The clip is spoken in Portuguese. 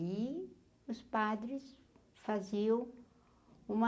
E os padres faziam uma...